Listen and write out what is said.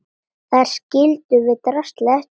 Þar skildum við draslið eftir.